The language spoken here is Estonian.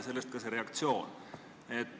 Sellest ka kogu see reaktsioon.